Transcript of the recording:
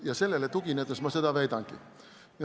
Ja sellele tuginedes ma seda väidangi.